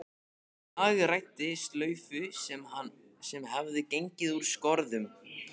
Hagræddi slaufu sem hafði gengið úr skorðum.